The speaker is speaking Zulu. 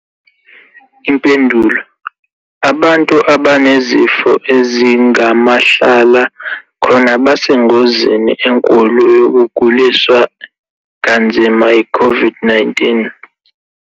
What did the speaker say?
Impendulo- Abantu abanezifo ezingamahlala khona basengozini enkulu yokuguliswa kanzima yi-COVID-19.